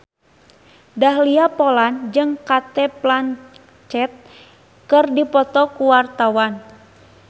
Dahlia Poland jeung Cate Blanchett keur dipoto ku wartawan